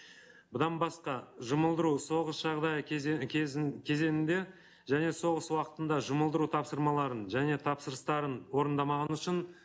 бұдан басқа жұмылдыру соғыс жағдай кезеңінде және соғыс уақытында жұмылдыру тапсырмаларын және тапсырыстарын орындамағаны үшін